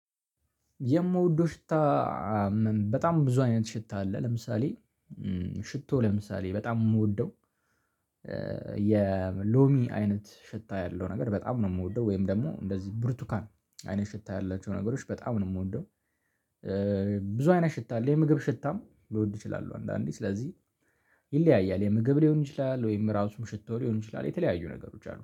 የምወደው ሽታ በጣም ብዙ አይነት ሽታ አለ። ለምሳሌ ሽቶ ለምሳሌ በጣም የምወደው የሎሚ አይነት ሽታ ያለው ነገር በጣም ነው። የምወደው ወይም ደግሞ እንደዚህ ብርቱካን አይነት ሽታ ያላቸው ነገሮች በጣም ነው የምወደው። ብዙ አይነት ሽታ አለ የምግብ ሽታም ልወድ እችላለሁ አንዳንዴ ስለዚህ። ይለያያል የምግብ ሊሆን ይችላል ወይም ራሱም ሽቶ ሊሆን ይችላል። የተለያዩ ነገሮች አሉ